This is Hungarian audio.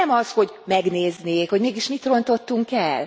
Nem az, hogy megnézné, hogy mégis mit rontottunk el?